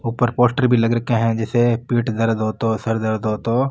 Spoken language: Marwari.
ऊपर पोस्टर भी लग रखे है जैसे पेट दर्द हो तोह सर दर्द हो तोह --